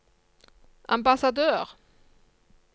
ambassadør